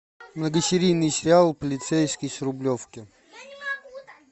многосерийный сериал полицейский с рублевки